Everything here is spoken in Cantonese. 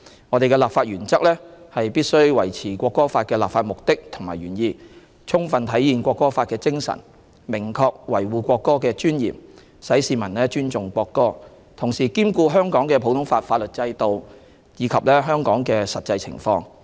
我們的立法原則是必須維持《國歌法》的立法目的和原意，充分體現《國歌法》的精神，明確維護國歌的尊嚴，使市民尊重國歌；同時兼顧香港的普通法法律制度，以及香港的實際情況。